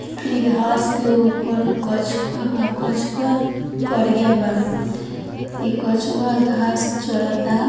इ घास के ऊपर कछुआ बा कछुआ करिया बा इ कछुआ घास चरता।